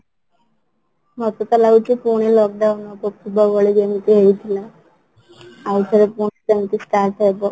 ମତେ ତ ଲାଗୁଛି ପୁଣି lock down ହେବ ପୂର୍ବ ଭଳି ଯେମିତି ହେଇଥିଲା ଆଉଥରେ ପୁଣି ସେମିତି start ହେବ